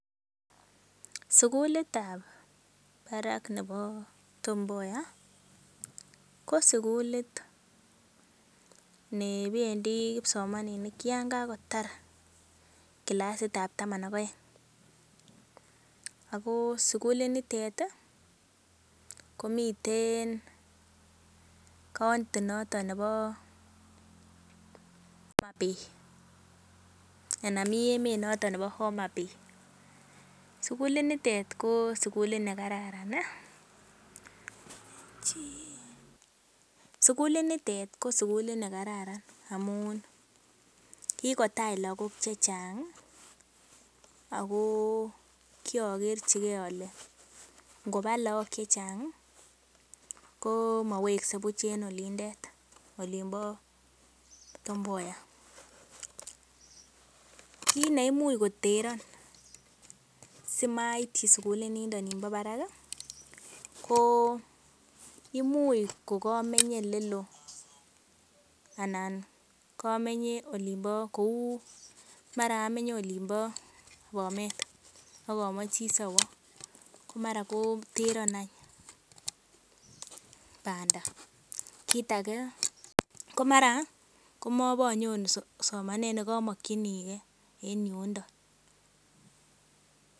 Sugulitab barak nebo Tom Mboya ko sugulit nebendi kipsomaninik yon kagotar kilasitab taman ak oeng. Ago sugulinitet komiten county notonnebo Homabay. Anan mi emet noton nebo Homabay. Sugulinitet ko sugulit ne kararan amun kigotach lagok che chang ago kiokerchige ole ngoba lagok che chang komowekse buch en olindet. Olinbo Tom Mboya. Kiit neimuch koteron simaityi sugulinindo nimbo barak ko imuch kogamenye ele loo anan komenye olinbo, kou mara amenye olinbo Bomet ak omoche asiowo. Ko mara koteron any banda. Kit age komara kobonyoru somanet nekomokinige en yundo.